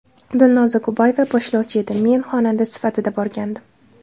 Dilnoza Kubayeva boshlovchi edi, men xonanda sifatida borgandim.